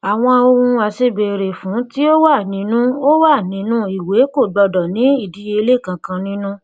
àwọn ohun aṣèbéèrè fún tí ó wà nínu ó wà nínu ìwé owó kò gbọdọ ní ìdíyelé kankan nínú